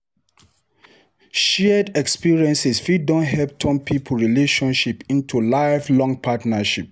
Shared experiences fit don help turn pipo relationship into lifelong partnership.